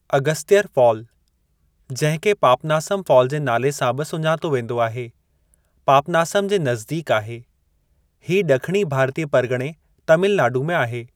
Agasthiyar fall, जंहिं खे Papanasam fall जे नाले सां बि सुञातो वेंदो आहे, पापनासम जे नज़दीक आहे, हीअ ड॒खिणी भारतीय परगिणे तमिलनाडु में आहे।